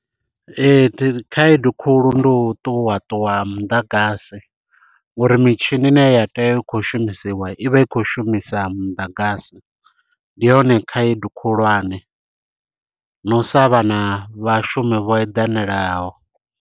Ee khaedu khulu ndi u ṱuwa ṱuwa ha muḓagasi, ngori mitshini ine ya tea u khou shumisiwa i vha i khou shumisa muḓagasi. Ndi yone khaedu khulwane na u sa vha na vhashumi vho eḓanalaho.